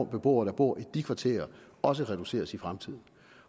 beboere der bor i de kvarterer også reduceres i fremtiden